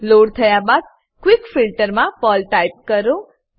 load થયા બાદ quick filter quick filter માં પર્લ ટાઈપ કરો